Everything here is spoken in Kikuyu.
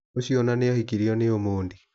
Ũcio ona nĩ ahikirio nĩ Omondi.